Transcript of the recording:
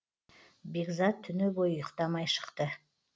бекзат түні бойы ұйықтамай шықты